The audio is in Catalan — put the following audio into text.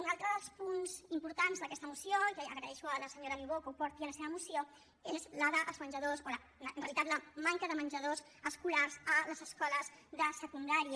un altre dels punts d’aquesta moció que agraeixo a la senyora niubó que el porti a la seva moció és el dels menjadors o en realitat la manca de menjadors escolars a les escoles de secundària